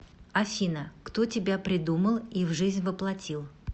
афина кто тебя придумал и в жизнь воплотил